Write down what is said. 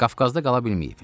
Qafqazda qala bilməyib.